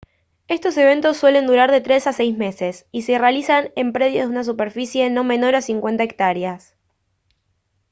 estos eventos suelen durar de tres a seis meses y se realizan en predios de una superficie no menor a 50 hectáreas